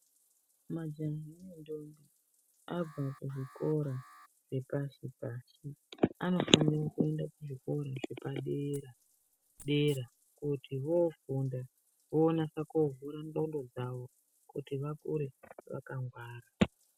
Majaha nendombi abva kuzvikora zvepashi pashi anofanira kuenda kuzvikora zvepadera dera kuti vofunda vonasa kuvhura ngonxo dzawo kuti vakure vakangwara.